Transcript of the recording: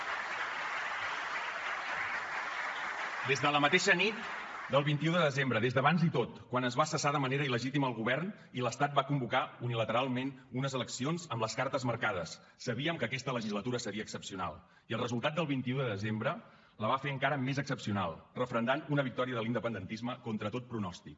des de la mateixa nit del vint un de desembre des d’abans i tot quan es va cessar de manera il·legítima el govern i l’estat va convocar unilateralment unes eleccions amb les cartes marcades sabíem que aquesta legislatura seria excepcional i el resultat del vint un de desembre la va fer encara més excepcional referendant una victòria de l’independentisme contra tot pronòstic